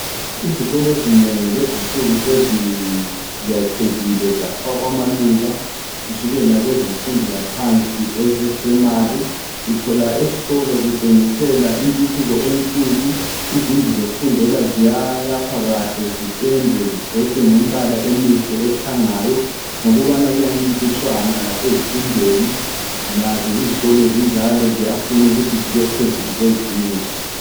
Izikolo ezinengi lezinsuku seziyakhekile zafakhwa amaluba kusukela kwezemfundo yaphansi esepurayimari uthola esikolo kutshengisela intuthuko enkulu. izindlu zokufundela ziyayakhwa kahle ziphendwe zigcotshwe ngembala emihle ekhangayo ngokubana kuyancintiswana lasezifundweni. Lazo izikolo zinjalo ziyafuna ukuthi zibe phezulu kwezinye